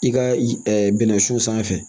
I ka bɛnɛ sun sanfɛ